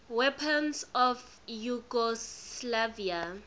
weapons of yugoslavia